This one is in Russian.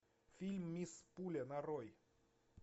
фильм мисс пуля нарой